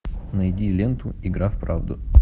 найди ленту игра в правду